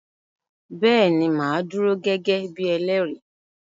Bẹ́ẹ̀ ni màá dúró gẹ́gẹ́ bí elẹ́rìí.